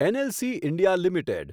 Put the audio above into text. NLC India limited